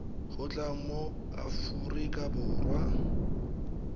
go tla mo aforika borwa